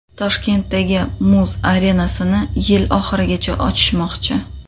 Toshkentdagi muz arenasini yil oxirigacha ochishmoqchi.